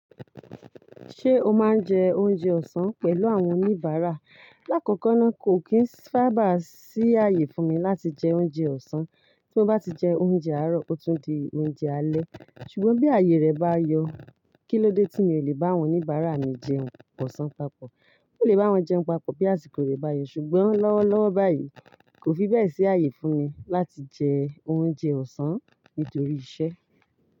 Ṣé o máa ń jẹ oúnjẹ ọ̀sán pẹ̀lú àwọn oníbàárà? Láàkọ́kọ́ náà, kò kí ń sábà sí ààyè fún mi láti jẹ oúnjẹ ọ̀sán. Tí mo bá ti jẹ oúnjẹ àárọ̀, ó tún di oúnjẹ alẹ́. Ṣùgbọ́n bí ààyè rẹ̀ bá yọ, kí ló dé tí mi ò lè bá àwọn oníbàárà mi jẹun ọ̀sán papọ̀? Mo lè bá wọn jẹun papọ̀ bí àsìkò rẹ̀ bá yọ. Ṣùgbọ́n lọ́wọ́ lọ́wọ́ báyìí, kò fi bẹ́ẹ̀ sí ààyè fún mi láti jẹ oúnjẹ ọ̀sán nítorí iṣẹ́.